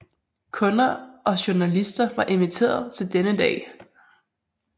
Kunder og journalister var inviteret til denne dag